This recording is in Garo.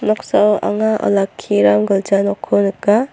noksao anga olakkiram gilja nokko nika.